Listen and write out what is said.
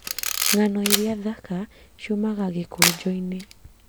Nga´no iria thaka ciumaga gĩkũnjo-inĩ